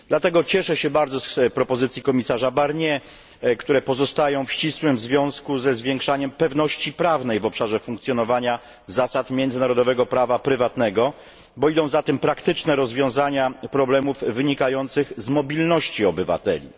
Dlatego cieszę się bardzo z propozycji komisarza Barniera, które pozostają w ścisłym związku ze zwiększaniem pewności prawnej w obszarze funkcjonowania zasad międzynarodowego prawa prywatnego, ponieważ idą za tym praktyczne rozwiązania problemów wynikających z mobilności obywateli.